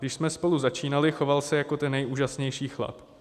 Když jsme spolu začínali, choval se jako ten nejúžasnější chlap.